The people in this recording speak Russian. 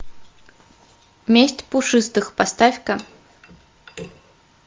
месть пушистых поставь ка